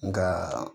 Nka